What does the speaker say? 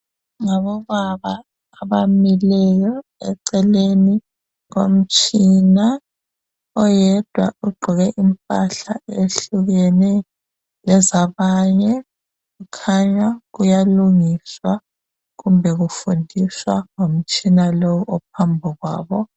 Ngobaba abamileyo eceleni komtshina . Oyedwa ugqoke imphahla ehlukene lezabanye .Kukhanya kuyalungiswa kumbe kufundiswa ngomtshina lo ophambi kwabo .